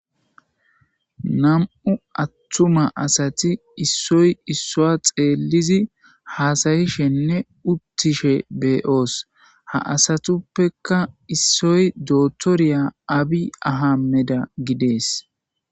''Nam'u attuma assati issoy issua xeelizi hasa'shenne uttishe de'oos.ha asatupeka essoy dootoriya Abiy Ahammediya gidees.''